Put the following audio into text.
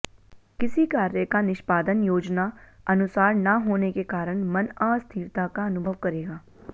किसी कार्य का निष्पादन योजना अनुसार ना होने के कारण मन अस्थिरता का अनुभव करेगा